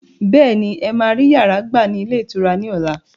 Bẹ́ẹ̀ni, ẹ máa rí yàrá gbà ní ilé ìtura ni ọ̀la.